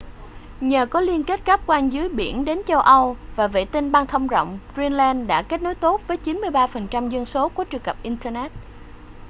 nhờ có liên kết cáp quang dưới biển đến châu âu và vệ tinh băng thông rộng greenland kết nối tốt với 93% dân số có truy cập internet